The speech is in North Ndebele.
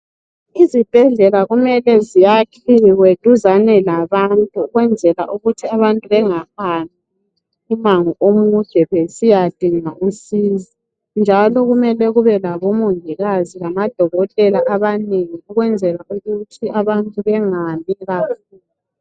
Izibhedlela mele zakhiwe duzane labantu ukwenzela ukuthi bengahambi umango omude besiyadinga usizo. Kumele njalo kube labomongikazi lamadokotela amanengi ukwenzela ukuthi abantu bangahambi kakhulu.